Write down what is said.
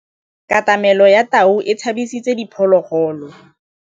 Katamêlô ya tau e tshabisitse diphôlôgôlô.